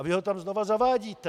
A vy ho tam znovu zavádíte.